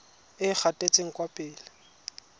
e e gatetseng kwa pele